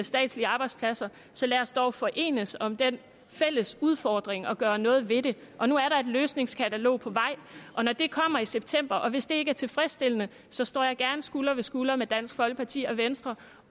statslige arbejdspladser så lad os dog forenes om den fælles udfordring og gøre noget ved det og nu er der et løsningskatalog på vej og når det kommer i september og hvis det ikke er tilfredsstillende så står jeg gerne skulder ved skulder med dansk folkeparti og venstre